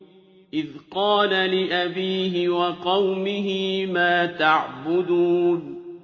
إِذْ قَالَ لِأَبِيهِ وَقَوْمِهِ مَا تَعْبُدُونَ